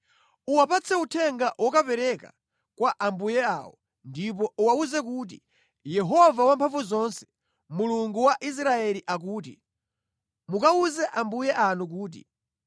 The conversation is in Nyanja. Uwapatse uthenga wokapereka kwa ambuye awo ndipo uwawuze kuti: Yehova Wamphamvuzonse, Mulungu wa Israeli akuti, ‘Mukawuze ambuye anu kuti: